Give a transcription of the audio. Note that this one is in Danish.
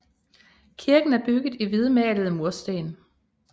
Kirken er bygget i hvidmalede mursten